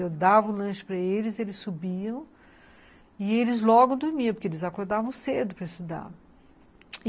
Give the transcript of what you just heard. Eu dava o lanche para eles, eles subiam e eles logo dormiam, porque eles acordavam cedo para estudar.